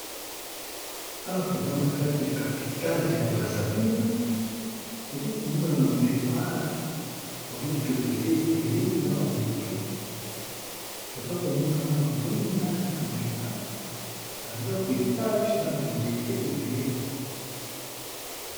Awa toza na kati ya kapitale ya braseville toza komona na boulevare bamotuku eza ebele na bamoto toza komona na bamwinda na boulevare bandako etage na banjete ebele.